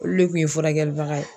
Olu le kun ye furakɛlibaga ye.